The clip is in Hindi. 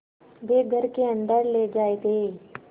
वे घर के अन्दर ले जाए गए